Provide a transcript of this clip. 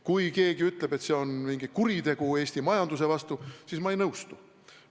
Kui keegi ütleb, et see on mingi kuritegu Eesti majanduse vastu, siis ma ei nõustu.